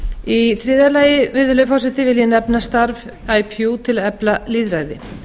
í þriðja lagi virðulegi forseti vil ég nefna starf ipu til að efla lýðræði